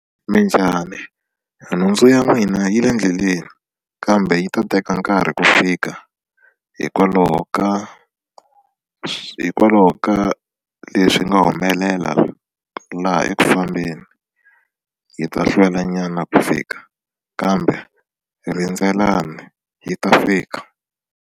Minjhani nhundzu ya n'wina yi le ndleleni kambe yi ta teka nkarhi ku fika hikwalaho ka hikwalaho ka leswi nga humelela laha eku fambeni yi ta hlwela nyana ku fika kambe rindzelani yi ta fika.